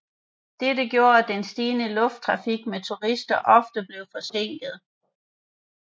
Dette gjorde at den stigende lufttrafik med turister ofte blev forsinket